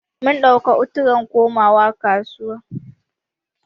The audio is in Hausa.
Mun ɗauka u-turn komawa kasuwa.